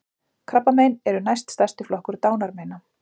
Krabbamein eru næst stærsti flokkur dánarmeina